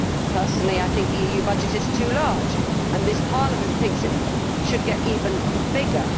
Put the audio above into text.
Personally I think the EU budget is too large and this Parliament thinks it should get even bigger.